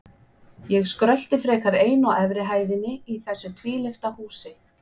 Ég skrölti frekar ein á efri hæðinni í þessu tvílyfta húsi.